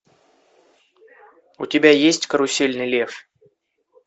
у тебя есть карусельный лев